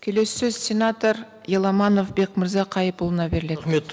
келесі сөз сенатор еламанов бекмырза қайыпұлына беріледі рахмет